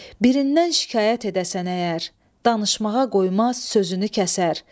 Birindən şikayət edəsən əgər, danışmağa qoymaz, sözünü kəsər.